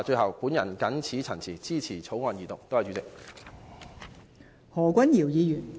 我謹此陳辭，支持二讀《條例草案》。